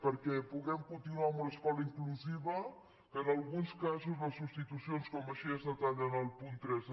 perquè puguem continuar en una escola inclusiva que en al·guns casos les substitucions com així es detalla en el punt tres